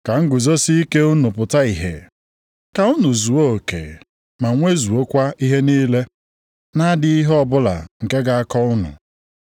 Ka nguzosike unu pụta ìhè, ka unu zuo oke ma nwezuokwa ihe niile, na-adịghị ihe ọbụla nke ga-akọ unu.